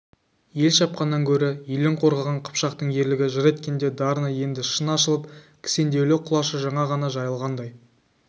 ел шапқаннан гөрі елін қорғаған қыпшақтың ерлігін жыр еткенде дарыны енді шын ашылып кісендеулі құлашы жаңа ғана жайылғандай